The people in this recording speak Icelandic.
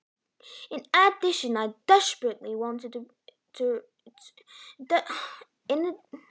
Auk þess dauðlangaði mig í hjólið.